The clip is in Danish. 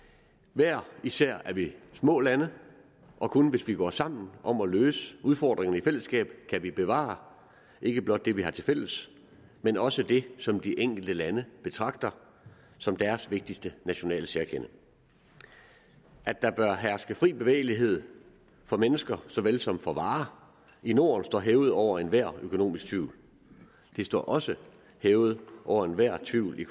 hver især er vi små lande og kun hvis vi går sammen om at løse udfordringerne i fællesskab kan vi bevare ikke blot det vi har til fælles man også det som de enkelte lande betragter som deres vigtigste nationale særkende at der bør herske fri bevægelighed for mennesker så vel som for varer i norden står hævet over enhver økonomisk tvivl det står også hævet over enhver tvivl i